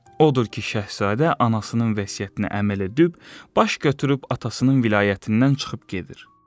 Odur ki, şahzadə anasının vəsiyyətinə əməl edib, baş götürüb atasının vilayətindən çıxıb gedir.